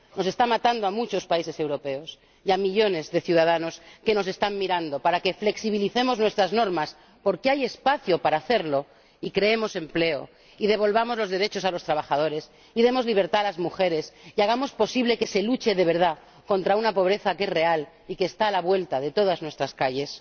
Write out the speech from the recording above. Está matando a muchos países europeos y a millones de ciudadanos que nos están mirando para que flexibilicemos nuestras normas —porque hay espacio para hacerlo— y creemos empleo y devolvamos los derechos a los trabajadores, y demos libertad a las mujeres, y hagamos posible que se luche de verdad contra una pobreza que es real y que está a la vuelta de todas nuestras calles.